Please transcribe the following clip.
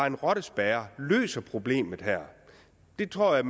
en rottespærre løser problemet her det tror jeg